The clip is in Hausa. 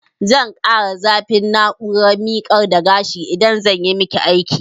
Zan ƙara zafin na'urar miƙar da gashin idan zanyi maki aiki